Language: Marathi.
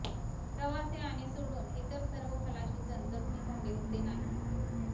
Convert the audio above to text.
प्रवासी आणि सोडून इतर सर्व खलाशी जण जखमी झाले होते नाही